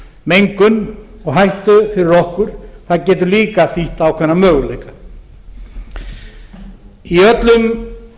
mengun og hættu fyrir okkur það getur líka þýtt ákveðna möguleika í öllum